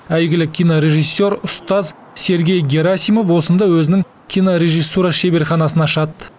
әйгілі кинорежиссер ұстаз сергей герасимов осында өзінің кинорежиссура шеберханасын ашады